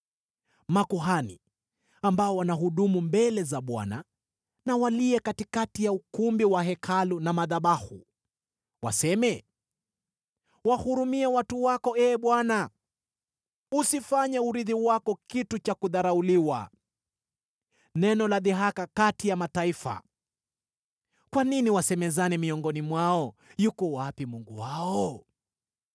Makuhani, ambao wanahudumu mbele za Bwana , na walie katikati ya ukumbi wa Hekalu na madhabahu. Waseme, “Wahurumie watu wako, Ee Bwana . Usifanye urithi wako kitu cha kudharauliwa, neno la dhihaka kati ya mataifa. Kwa nini wasemezane miongoni mwao, ‘Yuko wapi Mungu wao?’ ”